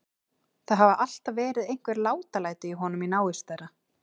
Það hafa alltaf verið einhver látalæti í honum í návist þeirra.